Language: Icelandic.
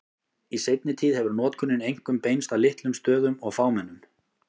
Í seinni tíð hefur notkunin einkum beinst að litlum stöðum og fámennum.